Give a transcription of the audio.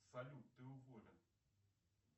салют ты уволен